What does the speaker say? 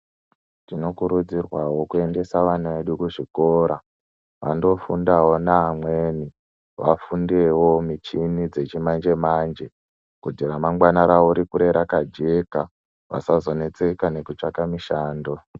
Tinokurudzirwawo kuendesa vana vedu kuzvikora vandofundawo neamweni vafundewo michini dzechimanje manje kuti ramamngwani rawo rikure rakajeka vasazonetseka nekutsvaka mishando